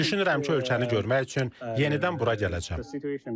Düşünürəm ki, ölkəni görmək üçün yenidən bura gələcəyəm.